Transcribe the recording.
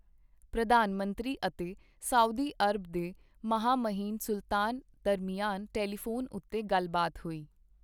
ਪ੍ਰਧਾਨ ਮੰਤਰੀ ਅਤੇ ਸਊਦੀ ਅਰਬ ਦੇ ਮਹਾਮਹਿਮ ਸੁਲਤਾਨ ਦਰਮਿਆਨ ਟੈਲੀਫ਼ੋਨ ਉੱਤੇ ਗੱਲਬਾਤ ਹੋਈ